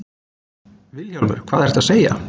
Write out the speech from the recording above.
VILHJÁLMUR: Hvað ertu að segja!